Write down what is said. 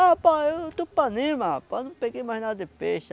Ah, rapaz, eu estou panema, rapaz, não peguei mais nada de peixe.